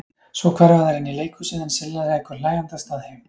Svo hverfa þær inn í leikhúsið en Silla ekur hlæjandi af stað heim.